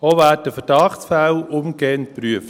Auch werden Verdachtsfälle umgehend geprüft.